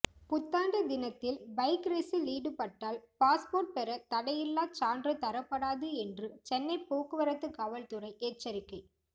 புத்தாண்டு தினத்தில் பைக் ரேஸில் ஈடுபட்டால் பாஸ்போர்ட் பெற தடையில்லா சான்று தரப்படாது என்று சென்னை போக்குவரத்து காவல்துறை எச்சரிக்கை